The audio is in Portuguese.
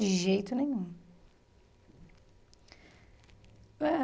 De jeito nenhum. Eh